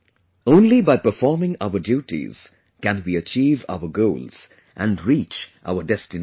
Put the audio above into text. Only by performing our duties can we achieve our goals and reach our destination